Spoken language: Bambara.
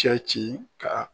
Cɛci ka